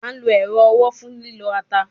A lo ero owo fun lilo ata